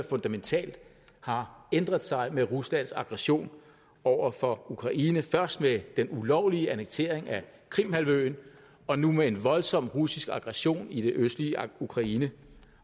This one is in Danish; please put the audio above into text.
fundamentalt har ændret sig med ruslands aggression over for ukraine først ved den ulovlige annektering af krimhalvøen og nu med en voldsom russisk aggression i det østlige ukraine